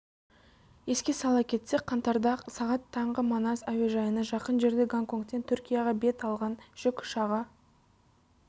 еске сала кетсек қаңтарда сағат таңғы манас әуежайына жақын жерде гонконгтен түркияға бет алған жүк ұшағы